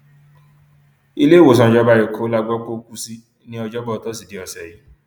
iléewòsàn ìjọba ẹkọ la gbọ pé ó kù sí ní ọjọbọ tọsídẹẹ ọsẹ yìí